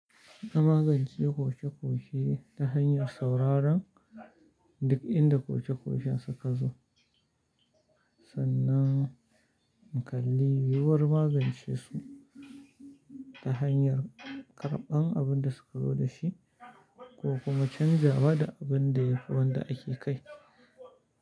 Ina magance koke-koke ta hanyar sauraron duk inda koke-koken suka zo, sannan in kalli yiwuwar magance su ta hanyar karɓan abin da suka zo da shi ko kuma canjawa da abin da yafi wanda ake kai.